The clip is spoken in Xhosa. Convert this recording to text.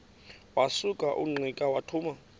wasuka ungqika wathuma